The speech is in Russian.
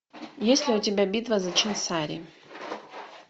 есть ли у тебя битва за чинсари